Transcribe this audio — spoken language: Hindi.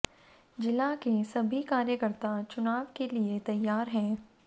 जिला के सभी कार्यकर्ता चुनाव के लिए तैयार हैं